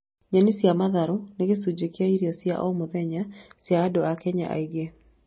Nyeni cia matharũ nĩ gĩcunjĩ kĩa irio cia o mũthenya cia andũ a Kenya aingĩ